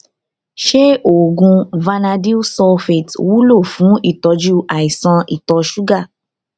ṣé oògùn vanadyl sulfate wúlò fún ìtọjú àìsàn ìtọ ṣúgà